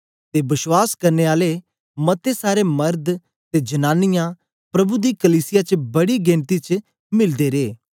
ते बश्वास करने आले मते सारे मरद ते जनांनीयां प्रभु दी कलीसिया च बड़ी गिनती च मिलदे रे